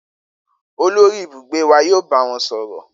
Olori ibugbe wa yoo ba wọn sọrọ.